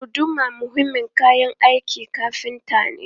Guduma muhimmin kayan aikin kafinta ne.